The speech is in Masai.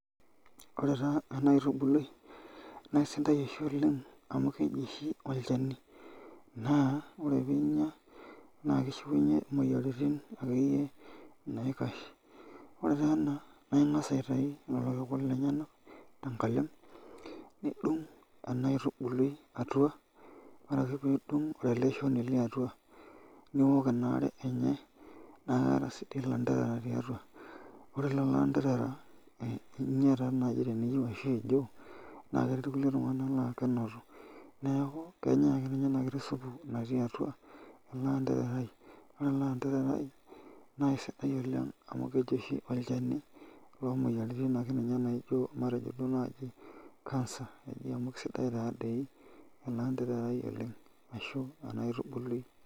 Ore taa ena aitubului na aisidai oshi oleng amu keji oshi olchani, na ore piinya na kishiunye moyiaritin akeyie naikasha ore ena naingasa aitaki irkiku lenyenak tenkalem nidung enaitubului atua ore ake pidung enaitubului atua niwok inaare enye, na keeta si ilanderera tiatua, ore loloanderera ninya nai teniyieu keti nkulie tunganak la kenotu neaku kenyae akeenye enakiti supu natii atua olanderai, ore ele andererai na kesidai oleng amu olchani akeenye oomoyiaritin matejo akeenye cancer matejo akeenye elendarerai oleng ashu enaitubului.